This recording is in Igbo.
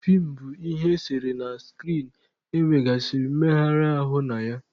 Feem bụ ihe eserese na skrin e nwegasịrị mmegharị ahụ na ya.